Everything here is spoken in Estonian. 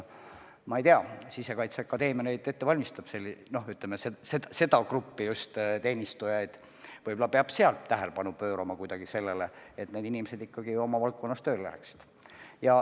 Ma ei tea, Sisekaitseakadeemia valmistab seda gruppi teenistujaid ette, võib-olla peab seal tähelepanu pöörama sellele, et need inimesed ikkagi oma valdkonnas tööle läheksid.